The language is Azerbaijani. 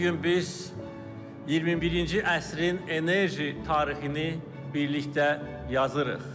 Bu gün biz 21-ci əsrin enerji tarixini birlikdə yazırıq.